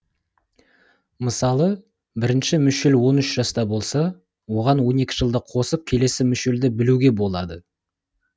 мысалы бірінші мүшел он үш жаста болса оған он екі жылды қосып келесі мүшелді білуге болады